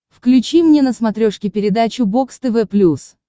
включи мне на смотрешке передачу бокс тв плюс